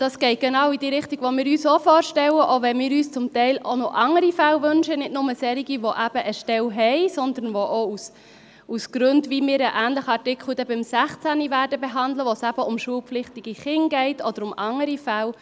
Dies geht genau in die Richtung, die wir uns auch vorstellen, selbst wenn wir uns dies zum Teil noch für andere Fälle wünschen, also nicht nur für Leute, die eine Stelle haben, sondern auch für Fälle, wo es um schulpflichtige Kinder oder anderes geht, wie wir dies in einem ähnlichen Artikel – Artikel 16 – behandeln werden.